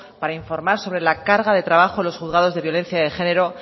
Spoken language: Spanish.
para informar sobre la carga de trabajo de los juzgados de violencia de género